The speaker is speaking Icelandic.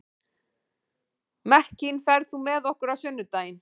Mekkin, ferð þú með okkur á sunnudaginn?